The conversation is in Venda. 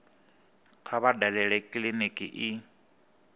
kha vha dalele kiliniki i